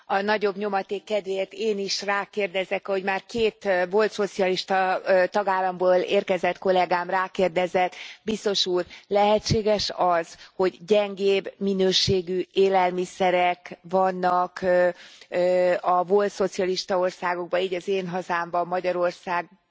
A nagyobb nyomaték kedvéért én is rákérdezek, hogy már két volt szocialista tagállamból érkezett kollégám rákérdezett Biztos Úr, lehetséges az, hogy gyengébb minőségű élelmiszerek vannak a volt szocialista országokban, így az én hazámban, Magyarországon